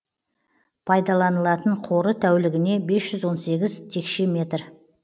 пайдаланылатын қоры тәулігіне бес жүз он сегіз текше метр